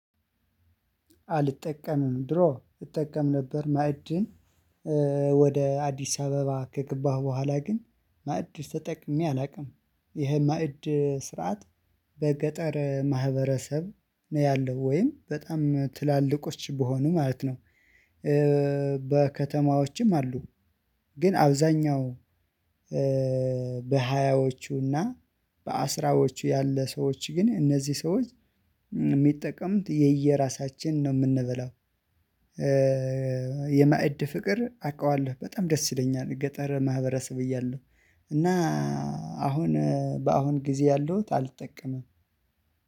አልጠቀምንም ድሮ እጠቀም ነበር ማዕድን ወደ አዲስ አበባ ከገባሁ በኋላ ግን ማዕድ ተጠቅሜ አላውቅም። ይሄ ማዕድ ስርዓት በገጠር ማህበረሰብ ነው ያለው ወይም በጣም ትላልቆች በሆኑ ማለት ነው። በከተማዎችም አሉ። ግን አብዛኛው በሃያዎቹና በአስራዎቹ ያለ ሰዎች ግን እነዚህ ሰዎች የሚጠቀምት የየራሳችን ነው የምንበላው። የማዕድ ፍቅር አውቃለሁ በጣም ደስ ይለኛል የገጠር ማህበረሰብ እያለሁ። እና አሁን በአሁን ጊዜ ያለው አልጠቀምም።